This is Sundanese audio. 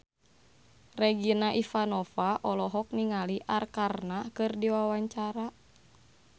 Regina Ivanova olohok ningali Arkarna keur diwawancara